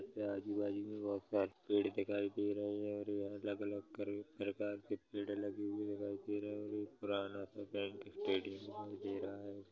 आजू बाजू मे बहुत सारे पेड़ दिखाई दे रहे हैं और अलग अलग प्रकार के पेड़ लगे हुए दिखाई दे रहे है और एक पुराना सा बैंक दिखाई दे रहा है।